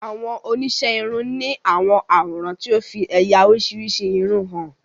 Awon onise irun ni awọn aworan ti o fi eya orisirisi irun han